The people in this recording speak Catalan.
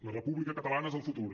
la república catalana és el futur